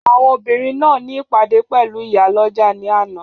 Àwọn obìnrin náà ní ìpàdé pẹ̀lú ìyálọ́jà ni àná